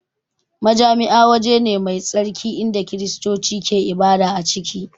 Majami'a waje ne mai tsarki inda Kiristoci ke ibada a ciki